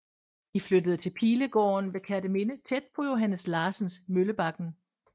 De flyttede til Pilegården ved Kerteminde tæt på Johannes Larsens Møllebakken